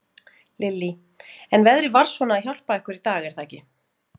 Lillý: En veðrið var svona að hjálpa ykkur í dag, er það ekki?